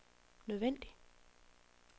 nødvendig